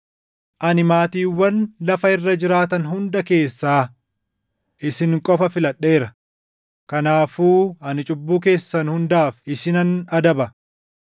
“Ani maatiiwwan lafa irra jiraatan hunda keessaa isin qofa filadheera; kanaafuu ani cubbuu keessan hundaaf isinan adaba.”